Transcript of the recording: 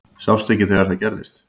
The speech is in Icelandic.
Sástu ekki þegar það gerðist?